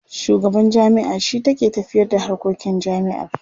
Shugaban jami'a shi take tafiyarda harkokin jami'ar.